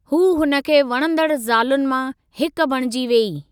हू हुन खे वणंदड़ ज़ालुनि मां हिक बणिजी वेई।